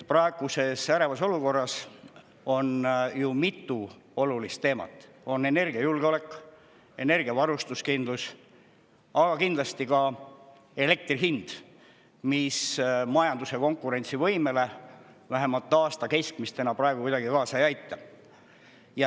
Praeguses ärevas olukorras on ju mitu olulist teemat: energiajulgeolek, energiavarustuskindlus, aga kindlasti ka elektri hind, mis majanduse konkurentsivõimele – vähemalt aasta keskmine hind – praegu kuidagi kaasa ei aita.